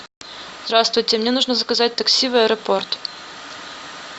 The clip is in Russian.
здравствуйте мне нужно заказать такси в аэропорт